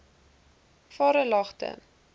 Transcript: varelagte